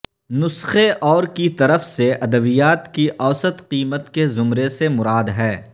نسخے اور کی طرف سے ادویات کی اوسط قیمت کے زمرے سے مراد ہے